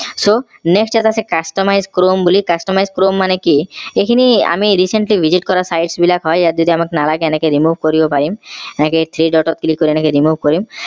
so next ইয়াত আছে customize chrome বুলি customize chrome মানে কি এইখিনি আমি recently visit কৰা size বিলাক হয় ইয়াত যদি আমাক নালাগেএনেকে remove কৰি দিব পাৰিম এনেকে tree দতত click কৰি এনেকে remove কৰিম